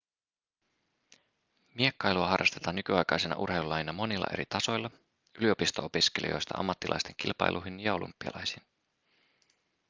miekkailua harrastetaan nykyaikaisena urheilulajina monilla eri tasoilla yliopisto-opiskelijoista ammattilaisten kilpailuihin ja olympialaisiin